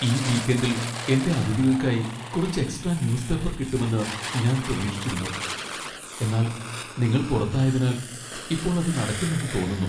ഈ വീക്കെൻഡിൽ എന്റെ അതിഥികൾക്കായി കുറച്ച് എക്സ്ട്രാ ന്യൂസ് പേപ്പർ കിട്ടുമെന്ന് ഞാൻ പ്രതീക്ഷിച്ചിരുന്നു, എന്നാൽ നിങ്ങൾ പുറത്തായതിനാൽ ഇപ്പോൾ അത് നടക്കില്ലെന്ന് തോന്നുന്നു.